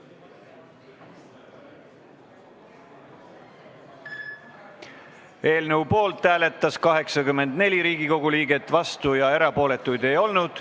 Hääletustulemused Eelnõu poolt hääletas 84 Riigikogu liiget, vastuolijaid ja erapooletuid ei olnud.